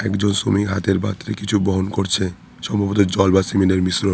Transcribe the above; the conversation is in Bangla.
একজন শ্রমিক হাতের বাত্রে কিছু বহন করছে সম্ভবত জল বা সিমেনের মিশ্রন।